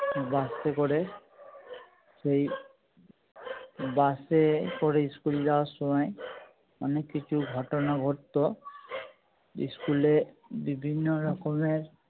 বাস এ করে সেই বাস এ করে school যাবার সময় অনেক কিছু ঘটনা ঘটতো school এ বিভিন্য রকমের